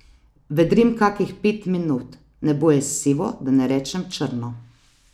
Vedrim kakih pet minut, nebo je sivo, da ne rečem črno.